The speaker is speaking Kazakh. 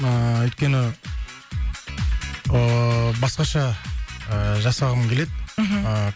ыыы өйткені ыыы басқаша ы жасағым келеді мхм ыыы